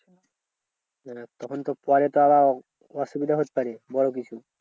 তখন তো পরে তো আবার অসুবিধা হতে পারে বড় কিছু।